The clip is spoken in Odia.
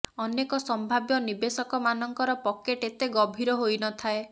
ଅନେକ ସମ୍ଭାବ୍ୟ ନିବେଶକମାନଙ୍କର ପକେଟ୍ ଏତେ ଗଭୀର ହୋଇ ନଥାଏ